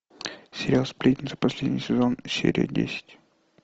сериал сплетницы последний сезон серия десять